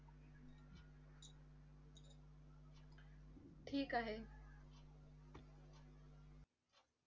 ठीक आहे.